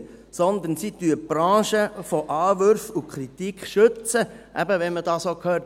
Vielmehr schützen sie die Branche vor Anwürfen und Kritik, eben, wenn man es so hört: